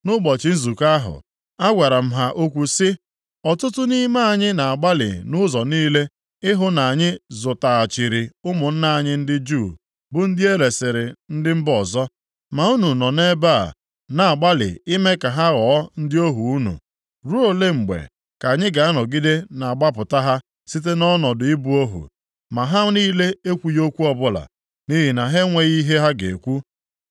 Nʼụbọchị nzukọ ahụ, agwara m ha okwu sị, “Ọtụtụ nʼime anyị na-agbalị nʼụzọ niile ịhụ na anyị zụtaghachiri ụmụnna anyị ndị Juu bu ndị e resiri ndị mba ọzọ. Ma unu nọ nʼebe a na-agbalị ime ha ka ha ghọọ ndị ohu unu. Ruo ole mgbe ka anyị ga-anọgide na-agbapụta ha site nʼọnọdụ ibu ohu?” Ma ha niile ekwughị okwu ọbụla, nʼihi na ha enweghị ihe ha ga-ekwu.